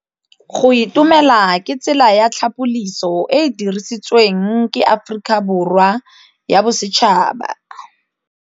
Go itumela ke tsela ya tlhapolisô e e dirisitsweng ke Aforika Borwa ya Bosetšhaba.